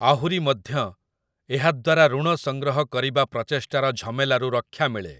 ଆହୁରି ମଧ୍ୟ, ଏହାଦ୍ଵାରା ଋଣ ସଂଗ୍ରହ କରିବା ପ୍ରଚେଷ୍ଟାର ଝମେଲାରୁ ରକ୍ଷା ମିଳେ ।